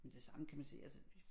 Men det samme kan man sige altså